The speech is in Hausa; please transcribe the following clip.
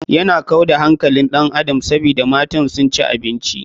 Yana kau da hankalin ɗan adam sabida matan su ci abinci.